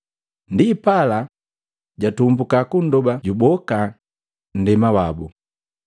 Ndipala, jatumbuka kundoba juboka nndema wabu.